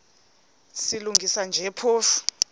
silungisa nje phofu